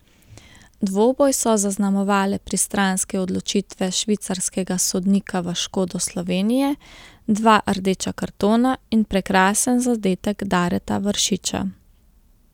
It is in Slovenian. Dvoboj so zaznamovale pristranske odločitve švicarskega sodnika v škodo Slovenije, dva rdeča kartona in prekrasen zadetek Dareta Vršiča.